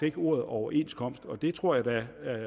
ikke ordet overenskomst og det tror jeg da at